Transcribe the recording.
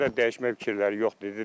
Hələ dəyişmək fikirləri yoxdur.